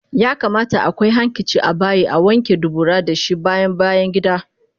Yakamata akwai hankici abayi Awanke dubura dashi bayan bayangida